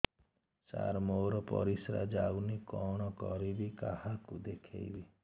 ସାର ମୋର ପରିସ୍ରା ଯାଉନି କଣ କରିବି କାହାକୁ ଦେଖେଇବି